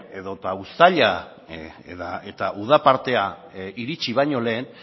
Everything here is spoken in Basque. edota uztaila eta uda partea iritsi baino lehen